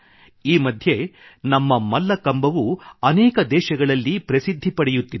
ಈ ಮಧ್ಯೆ ನಮ್ಮ ಮಲ್ಲಕಂಬವೂ ಅನೇಕ ದೇಶಗಳಲ್ಲಿ ಪ್ರಸಿದ್ಧಿ ಪಡೆಯುತ್ತಿದೆ